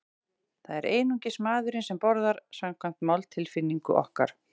Það er einungis maðurinn sem borðar, samkvæmt máltilfinningu okkar.